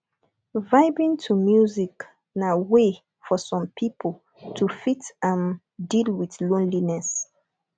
vibing to music na way for some pipo to fit um deal with loneliness